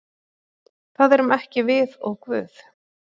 Það erum ekki við og Guð.